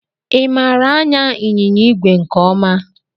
I maara anya ịnyịnya ìgwè nke ọma?